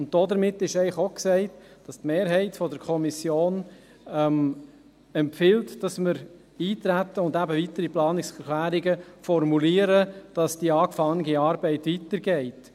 Hiermit ist eigentlich auch gesagt, dass die Mehrheit der Kommission empfiehlt, dass wir eintreten und eben weitere Planungserklärungen formulieren, damit die begonnene Arbeit weitergeht.